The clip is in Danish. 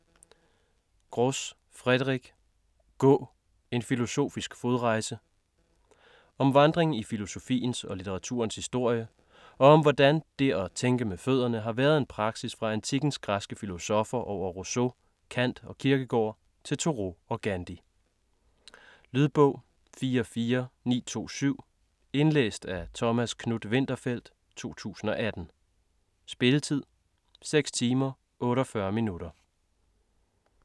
Gros, Frédéric: Gå!: en filosofisk fodrejse Om vandring i filosofiens og litteraturens historie, og om hvordan det et tænke med fødderne har været en praksis fra antikkens græske filosoffer over Rousseau, Kant og Kierkegaard til Thoreau og Gandhi. Lydbog 44927 Indlæst af Thomas Knuth-Winterfeldt, 2018. Spilletid: 6 timer, 48 minutter.